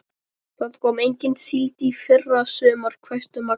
Það kom engin síld í fyrra sumar, hvæsti Magga.